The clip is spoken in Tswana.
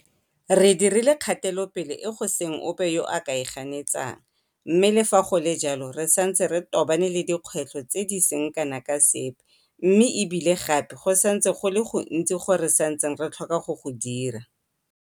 Re dirile kgatelopele e go seng ope yo a ka e ganetsang, mme le fa go le jalo re santse re tobane le dikgwetlho tse di seng kana ka sepe mme e bile gape go santse go le go gontsi go re santseng re tlhoka go go dira.